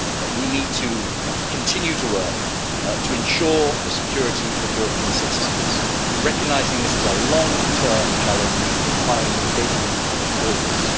We need to continue to work to ensure the security of European citizens, recognising that this is a long term challenge requiring the engagement of all of us.